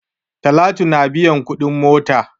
Talatu na biyan kuɗin mota.